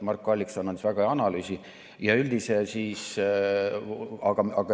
Marko Allikson andis väga hea analüüsi.